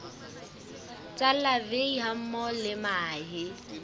tsa larvae hammoho le mahe